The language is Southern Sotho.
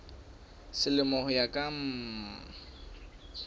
selemo ho ya ka mm